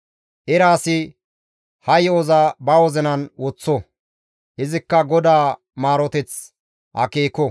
Era asi ha yo7oza ba wozinan woththo; izikka GODAA maaroteth akeeko.